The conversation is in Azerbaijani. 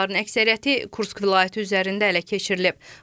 PUA-ların əksəriyyəti Kursk vilayəti üzərində ələ keçirilib.